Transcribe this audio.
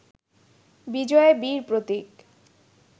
বিজয়ে বীর প্রতীক